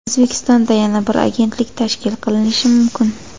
O‘zbekistonda yana bir agentlik tashkil qilinishi mumkin.